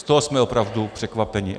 Z toho jsme opravdu překvapeni.